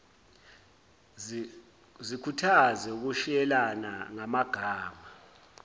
zikhuthaze ukushiyelana ngamagama